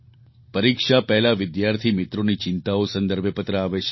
પરીક્ષા પહેલાં વિદ્યાર્થીમિત્રોની ચિંતાઓ સંદર્ભે પત્ર આવે છે